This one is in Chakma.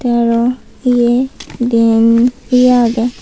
teh aaro eyeh diyen he aagey.